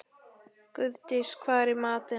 Guðdís, hvað er í matinn?